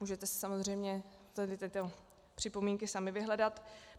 Můžete si samozřejmě tady tyto připomínky sami vyhledat.